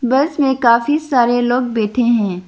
बस में काफी सारे लोग बैठे है।